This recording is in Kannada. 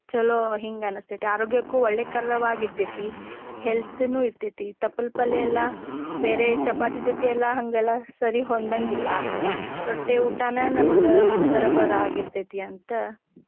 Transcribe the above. ಚೊಲೋ ಹಿಂಗ ಅನಸ್ತೆತಿ. ಆರೋಗ್ಯಕ್ಕೂ ಒಳ್ಳೇಕರವಾಗಿರ್ತೆತಿ health ನು ಇರ್ತೆತಿ. ತಪ್ಪಲ ಪಲ್ಲೆ ಎಲ್ಲಾ ಬೇರೆ ಚಪಾತಿ ಜೊತೆ ಎಲ್ಲಾ ಹಂಗೆಲ್ಲಾ ಸರಿ ಹೊಂದಾಂಗಿಲ್ಲಾ. ರೊಟ್ಟಿ ಊಟಾನ ನಮಗ ಬರಬರ್ ಆಗಿರತೇತಿ ಅಂತ.